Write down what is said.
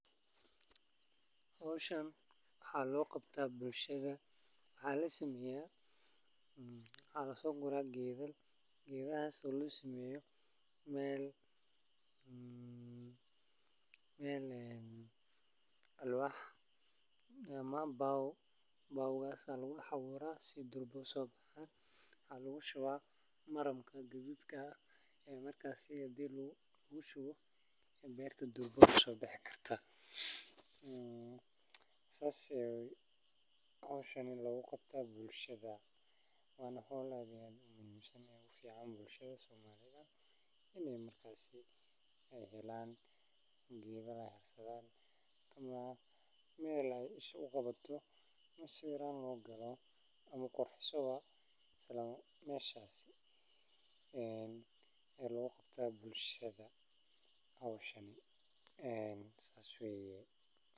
Howshaan waxa logabta bulshada waxa lasameya waxa lasogura gedaal geedahas oo lagasameyo mel een wax ama baw lagasameyo waxa lagashuwa maranka gadudka markasi oo berta durba usobihi karta een sas aya howshaani lagugabta bulshada, ama sas ayan aminsanyahay bulshada somalida markasi ay helaan geedaha ama mel aya iskugawato in sawiraan lagugalo ama quruxsan meshas ee een lagugabto bulshada howshaan sas waye.